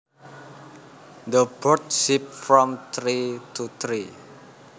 The birds zip from tree to tree